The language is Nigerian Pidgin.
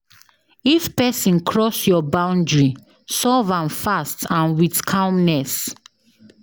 If person cross your boundary, solve am fast and with calmness